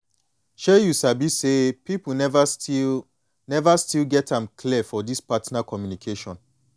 shay you sabi say people never still never still get am clear for this partner communication